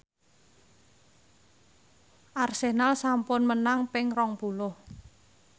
Arsenal sampun menang ping rong puluh